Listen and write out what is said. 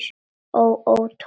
Ó, ó, Tóti minn.